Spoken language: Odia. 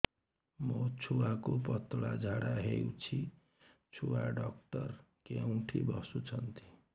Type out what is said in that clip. ମୋ ଛୁଆକୁ ପତଳା ଝାଡ଼ା ହେଉଛି ଛୁଆ ଡକ୍ଟର କେଉଁଠି ବସୁଛନ୍ତି